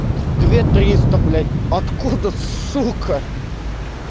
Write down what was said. две триста блять откуда сука